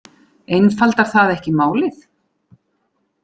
Einfaldar það ekki málið?